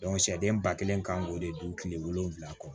sɛden ba kelen kan k'o de don kile wolonwula kɔ